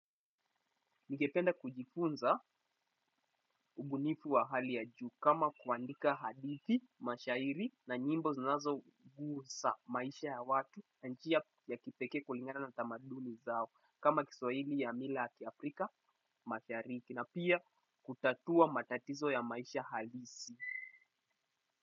Ningependa kujifunza, ubunifu wa hali ya juu kama kuandika hadithi, mashairi na nyimbo zinazogusa maisha ya watu na njia ya kipekee kulingana na tamaduni zao kama Kiswahili ya mila ya kiafrika Mashariki. Na pia, kutatua matatizo ya maisha halisi.